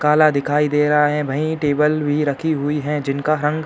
काला दिखाई दे रहा है। वही टेबल भी रखी हुई है। जिनका रंग --